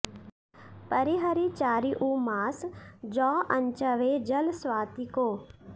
परिहरि चारिउ मास जौ अँचवै जल स्वाति को